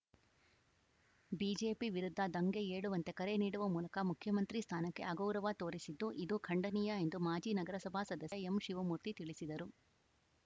BJP ವಿರುದ್ಧ ದಂಗೆ ಏಳುವಂತೆ ಕರೆ ನೀಡುವ ಮೂಲಕ ಮುಖ್ಯಮಂತ್ರಿ ಸ್ಥಾನಕ್ಕೆ ಅಗೌರವ ತೋರಿಸಿದ್ದು ಇದು ಖಂಡನೀಯ ಎಂದು ಮಾಜಿ ನಗರಸಭಾ ಸದಸ್ಯ ಎಂಶಿವಮೂರ್ತಿ ತಿಳಿಸಿದರು